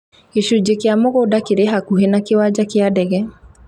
Gĩcunjĩ kĩa mũgũnda kĩrĩ hakuhĩ na kĩwanja kĩa ndege